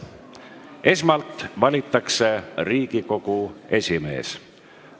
Esmalt valitakse Riigikogu esimees.